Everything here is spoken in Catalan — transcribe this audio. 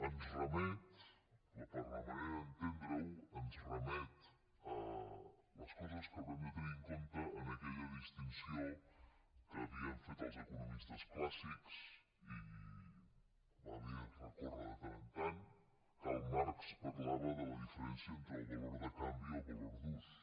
ens remet per la manera d’entendre ho a les coses que hauran de tenir en compte en aquella distinció que havien fet els economistes clàssics i va bé recórrer hi de tant en tant karl marx parlava de la diferència entre el valor de canvi i el valor d’ús